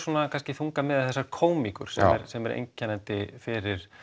kannski þungamiðja þessarar sem er einkennandi fyrir